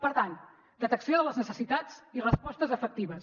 per tant detecció de les necessitats i respostes efectives